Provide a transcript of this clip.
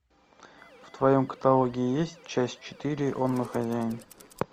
в твоем каталоге есть часть четыре он мой хозяин